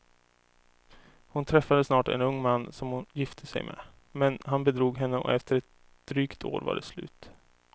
Hon träffade snart en ung man som hon gifte sig med, men han bedrog henne och efter ett drygt år var det slut.